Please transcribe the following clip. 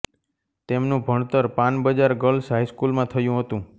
તેમનું ભણતર Panbazar girls high સ્કૂલમાં થયું હતું